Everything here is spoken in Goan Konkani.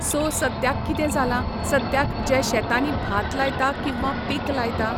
सो सद्याक कितें जालां, सद्याक जे शेतांनी भात लायता किंवा पीक लायता.